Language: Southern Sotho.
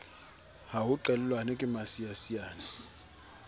ha ho qellwane ke masiasiane